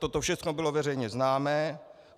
Toto všechno bylo veřejně známo.